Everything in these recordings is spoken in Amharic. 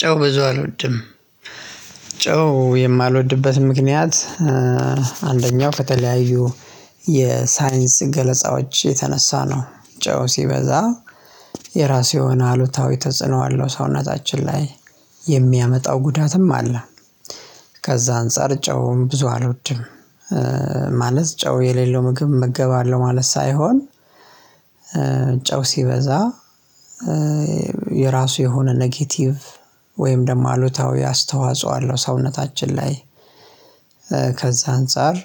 ጨው ብዙ አልወድም። ጨው የማልወድበት ምክንያት አንደኛው ከተለያዩ የሳይንስ ገለጻዎች የተነሳ ነው። ጨው ሲበዛ የራሱ የሆነ አሉታዊ ተጽዕኖ አለው። ሰውነታችን ላይ የሚያመጣው ጉዳትም አለ። ከዛ አንፃር ጨው ብዙ አልወድም። ማለት ጨው የሌለው ምግብ እመገባለሁ ማለት ሳይሆን ጨው ሲበዛ የራሱ የሆነ ኔጌቲቭ ወይም ደግሞ አሉታዊ አስተዋጽኦ አለው ሰውነታችን ላይ። ከዛ አንፃር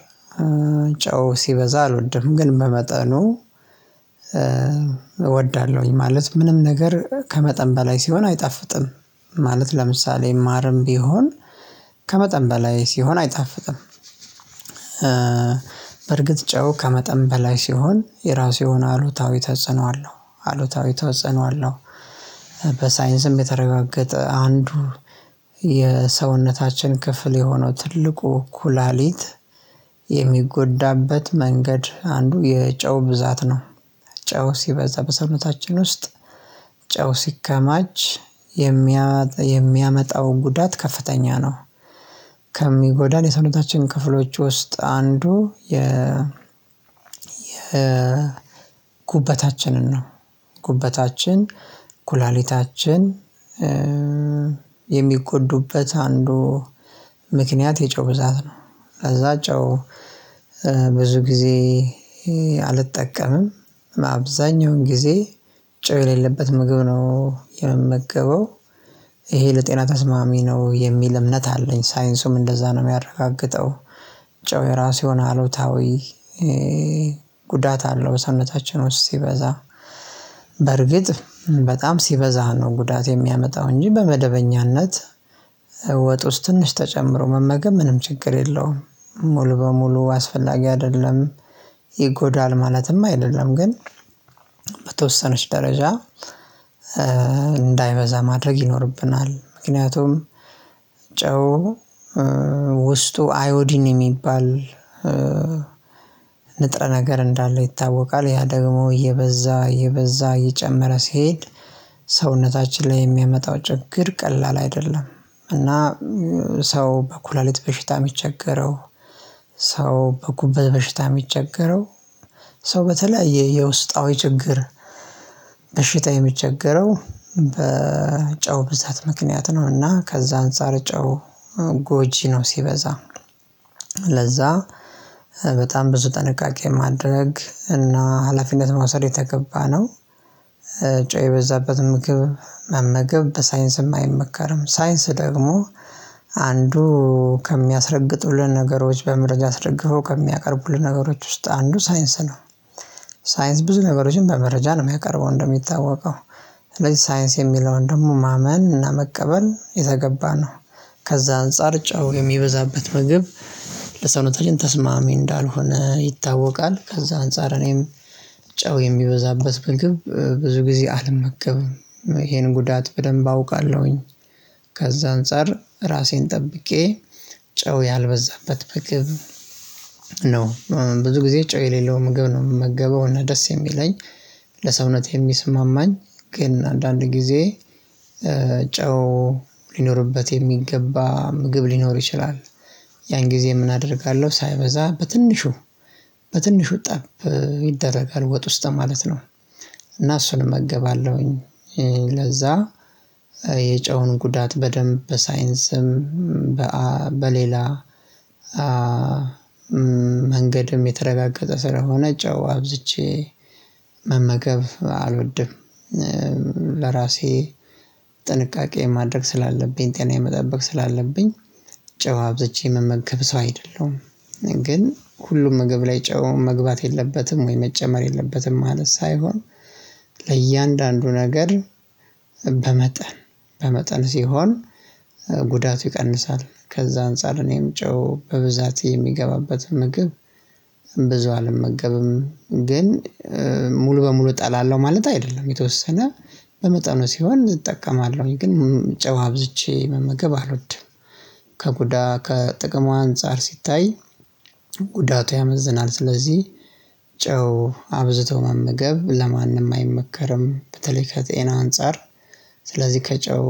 ጨው ሲበዛ አልወድም። ግን በመጠኑ እወዳለሁኝ። ማለት ምንም ነገር ከመጠን በላይ ሲሆን አይጣፍጥም። ማለት ለምሳሌ ማርም ቢሆን ከመጠን በላይ ሲሆን አይጣፍጥም። በርግጥ ጨው ከመጠን በላይ ሲሆን የራሱ የሆነ አሉታዊ ተጽዕኖ አለው። አሉታዊ ተጽዕኖ አለው። በሳይንስም የተረጋገጠ አንዱ የሰውነታችን ክፍል የሆነው ትልቁ ኩላሊት የሚጎዳበት መንገድ አንዱ የጨው ብዛት ነው። ጨው ሲበዛ በሰውነታችን ውስጥ ጨው ሲከማች የሚያመጣው ጉዳት ከፍተኛ ነው። ከሚጎዳን የሰውነታችን ክፍሎች ውስጥ አንዱ የ የ ጉበታችንን ነው። ጉበታችን ኩላሊታችን የሚጎዱበት አንዱ ምክንያት የጨው ብዛት ነው። ከዛ ጨው ብዙ ጊዜ አልጠቀምም። አብዛኛውን ጊዜ ጨው የሌለበት ምግብ ነው የምመገበው። ይሄ ለጤና ተስማሚ ነው የሚል እምነት አለኝ። ሳይንሱም እንደዛ ነው የሚያረጋግጠው። ጨው የራሱ የሆነ አሉታዊ ጉዳት አለው በሰውነታችን ውስጥ ሲበዛ በርግጥ በጣም ሲበዛ ነው ጉዳት የሚያመጣው፤ እንጂ በመደበኛነት ወጥ ውስጥ ትንሽ ተጨምሮ መመገብ ምንም ችግር የለውም። ሙሉ በሙሉ አስፈላጊ አይደለም ይጎዳል ማለትም አይደለም። ግን በተወሰነች ደረጃ እንዳይበዛ ማድረግ ይኖርብናል። ምክንያቱም ጨው ውስጡ አዮዲን የሚባል ንጥረ ነገር እንዳለው ይታወቃል። ያ ደግሞ እየበዛ እየበዛ እየጨመረ ሲሄድ ሰውነታችን ላይ የሚያመጣው ችግር ቀላል አይደለም። እና ሰው በኩላሊት በሽታ የሚቸገረው፣ ሰው በጉበት በሽታ የሚቸገረው፣ ሰው በተለያየ የውስጣዊ ችግር በሽታ የሚቸገረው በጨው ብዛት ምክንያት ነው። እና ከዛ አንፃር ጨው ጎጂ ነው ሲበዛ። ለዛ በጣም ብዙ ጥንቃቄ ማድረግ እና ሀላፊነት መውሰድ የተገባ ነው። ጨው የበዛበት ምግብ መመገብ በሳይንስም አይመከርም። ሳይንስ ደግሞ አንዱ ከሚያስረግጡልን ነገሮች በመረጃ አስረግፈው ከሚያቀርቡልን ነገሮች ውስጥ አንዱ ሳይንስ ነው። ሳይንስ ብዙ ነገሮችን በመረጃ ነው የማያቀርበው እንደሚታወቀው። ሳይንስ የሚለውን ደግሞ ማመን እና መቀበል የተገባ ነው። ከዛ አንፃር ጨው የሚበዛበት ምግብ ለሰውነታችን ተስማሚ እንዳልሆነ ይታወቃል። ከዛ አንፃር እኔም ጨው የሚበዛበት ምግብ ብዙ ጊዜ አልመገብም። ይሄን ጉዳት በደንብ አውቃለሁኝ። ከዛ አንፃር ራሴን ጠብቄ ጨው ያልበዛበት ምግብ ብዙ ጊዜ ጮህ የሌለው ምግብ ነው የምመገበው። እና ደስ የሚለኝ ለሰውነት የሚስማማኝ ግን አንዳንድ ጊዜ ጨው ሊኖርበት የሚገባ ምግብ ሊኖር ይችላል። ያን ጊዜ ምን አደርጋለሁ ሳይበዛ በትንሹ በትንሹ ጠብ ይደረጋል ወጥ ውስጥ ማለት ነው። እና እሱን እመገባለሁኝ። ለዛ የጨውን ጉዳት በደንብ በሳይንስም በሌላ መንገድም የተረጋገጠ ስለሆነ ጨው አብዝቼ መመገብ አልወድም። ለራሴ ጥንቃቄ ማድረግ ስላለብኝ ጤናዬን መጠበቅ ስላለብኝ ጨው አብዝቼ የምመገብ ሰው አይደለሁም። ግን ሁሉም ምግብ ላይ ጨው መግባት የለበትም ወይ መጨመር የለበትም ማለት ሳይሆን፤ ለእያንዳንዱ ነገር በመጠን በመጠን ሲሆን ጉዳቱ ይቀንሳል። ከዛ አንፃር እኔም ጨው በብዛት የሚገባበትን ምግብ ብዙ አልመገብም። ግን ሙሉ በሙሉ እጠላለሁ ማለት አይደለም። የተወሰነ በመጠኑ ሲሆን እጠቀማለሁኝ። ግን ጨው አብዝቼ መመገብ አልወድም። ከጉዳት ከጥቅሙ አንፃር ሲታይ ጉዳቱ ያመዝናል። ስለዚህ ጨው አብዝቶ መመገብ ለማንም አይመከርም። በተለይ ከጤና አንፃር ስለዚህ ከጨው